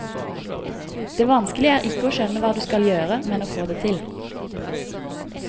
Det vanskelige er ikke skjønne hva du skal gjøre, men å få det til.